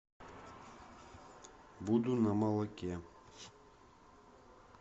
буду на молоке